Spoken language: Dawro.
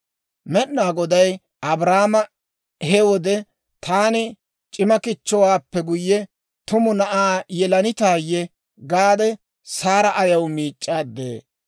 Med'inaa Goday Abrahaame he wode, « ‹Taani c'ima kichchowaappe guyye, tumu na'aa yelanitaayye?› gaade, Saara ayaw miic'c'aade?